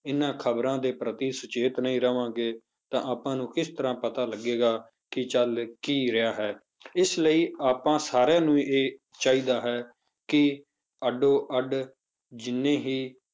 ਇਹਨਾਂ ਖ਼ਬਰਾਂ ਦੇ ਪ੍ਰਤੀ ਸੁਚੇਤ ਨਹੀਂ ਰਹਾਂਗੇ ਤਾਂ ਆਪਾਂ ਨੂੰ ਕਿਸ ਤਰ੍ਹਾਂ ਪਤਾ ਲੱਗੇਗਾ ਕਿ ਚੱਲ ਕੀ ਰਿਹਾ ਹੈ, ਇਸ ਲਈ ਆਪਾਂ ਸਾਰਿਆਂ ਨੂੰ ਇਹ ਚਾਹੀਦਾ ਹੈ ਕਿ ਅੱਡੋ ਅੱਡ ਜਿੰਨੀ ਹੀ